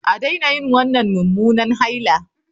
A daina yin wannan mummunan haila